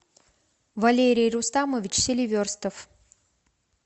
валерий рустамович селиверстов